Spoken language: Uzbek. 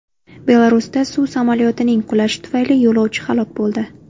Belarusda suv samolyotining qulashi tufayli yo‘lovchi halok bo‘ldi.